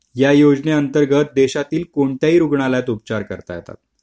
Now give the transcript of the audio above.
आणि या योजनेअंतर्गत देशातील कोणत्याही रुग्णालयात उपचार करता येतात